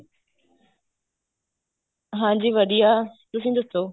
ਹਾਂਜੀ ਵਧੀਆ ਤੁਸੀਂ ਦੱਸੋ